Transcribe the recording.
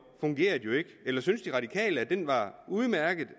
fungerede jo ikke eller synes de radikale at den var udmærket